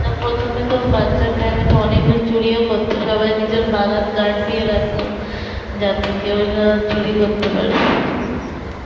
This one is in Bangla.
প্রথমে তো বাচ্চার time এ তো অনেকজন চুরি ও করত সবাই নিজের বাগান গার্ড দিয়ে রাখতো যাতে কেউ না চুরি করতে পারে